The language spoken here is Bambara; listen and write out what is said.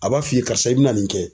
A b'a f'i ye karisa i bɛna nin kɛ.